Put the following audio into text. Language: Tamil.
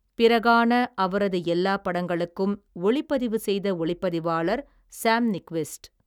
பிறகான அவரது எல்லாப் படங்களுக்கும், ஒளிப்பதிவு செய்த, ஒளிப்பதிவாளர் சாம் நிக்விஸ்ட்.